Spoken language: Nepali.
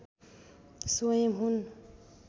स्वयं हुन्